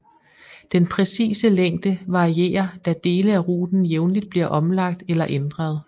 Den præcise længde varierer da dele af ruten jævnligt bliver omlagt eller ændret